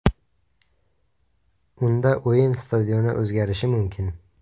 Unda o‘yin stadioni o‘zgarishi mumkin.